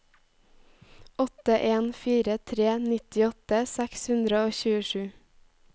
åtte en fire tre nittiåtte seks hundre og tjuesju